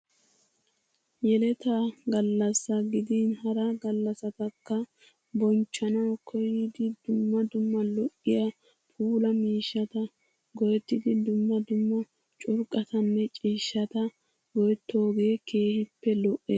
Yeleta gallassaa gidin hara gallasatakka bonchchanawu koyidi dumma dumma lo'iya puulaa miishshata go'ettidi dumma dumma curqatanne ciishshata go'etooge keehippe lo'es.